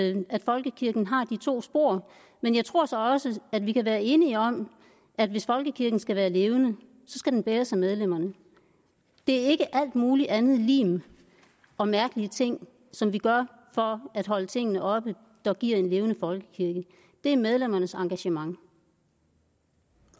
i at folkekirken har de to spor men jeg tror så også at vi kan være enige om at hvis folkekirken skal være levende skal den bæres af medlemmerne det er ikke al mulig andet lim og mærkelige ting som vi gør for at holde tingene oppe der giver en levende folkekirke det er medlemmernes engagement